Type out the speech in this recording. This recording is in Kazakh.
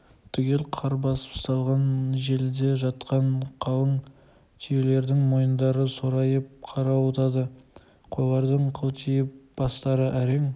түгел қар басып салған желіде жатқан қалың түйелердің мойыңдары сорайып қарауытады қойлардың қылтиып бастары әрең